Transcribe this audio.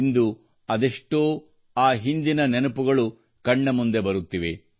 ಇಂದು ಅದೆಷ್ಟೋ ಗತಕಾಲದ ನೆನಪುಗಳು ಕಣ್ಣ ಮುಂದೆ ಬರುತ್ತಿವೆ